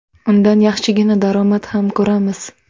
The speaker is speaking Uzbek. Undan yaxshigina daromad ham ko‘ramiz.